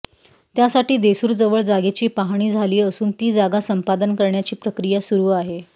त्यासाठी देसूरजवळ जागेची पाहणी झाली असून ती जागा संपादन करण्याची प्रक्रिया सुरु आहे